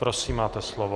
Prosím, máte slovo.